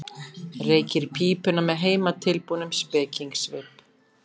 Reykir pípuna með heimatilbúnum spekingssvip.